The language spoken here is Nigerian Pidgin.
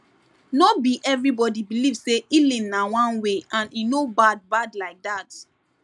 no be everybody believe say healing na one way and e no bad bad like that